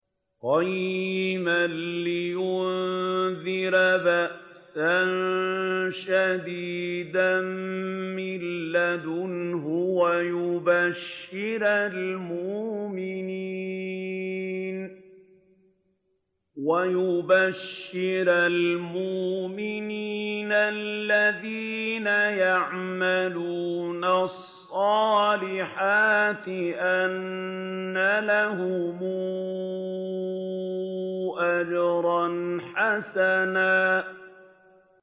قَيِّمًا لِّيُنذِرَ بَأْسًا شَدِيدًا مِّن لَّدُنْهُ وَيُبَشِّرَ الْمُؤْمِنِينَ الَّذِينَ يَعْمَلُونَ الصَّالِحَاتِ أَنَّ لَهُمْ أَجْرًا حَسَنًا